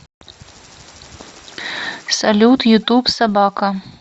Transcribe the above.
салют ютуб собака